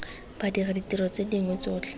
badiri ditiro tse dingwe tsotlhe